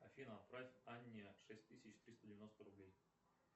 афина отправь анне шесть тысяч триста девяносто рублей